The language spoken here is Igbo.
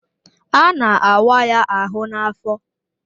A na-awa ya ahụ n'afọ